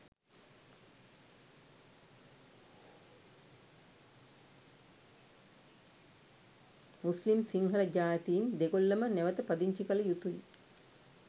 මුස්ලිම් සිංහල ජාතීන් දෙගොල්ලම නැවත පදිංචි කළ යුතුයි.